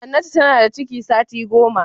Hannatu tana da ciki sati goma.